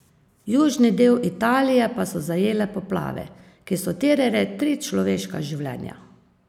Južni del Italije pa so zajele poplave, ki so terjale tri človeška življenja.